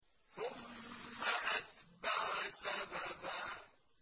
ثُمَّ أَتْبَعَ سَبَبًا